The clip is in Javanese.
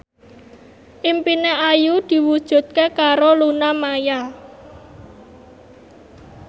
impine Ayu diwujudke karo Luna Maya